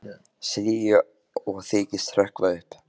segi ég og þykist hrökkva upp.